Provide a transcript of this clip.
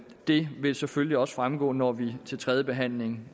det vil selvfølgelig også fremgå når vi til tredje behandling